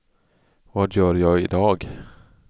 vad gör jag idag